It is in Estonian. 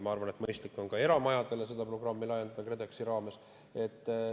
Ma arvan, et mõistlik on ka eramajadele seda programmi KredExi raames laiendada.